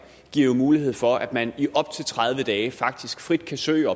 giver mulighed for at man i op til tredive dage faktisk frit kan søge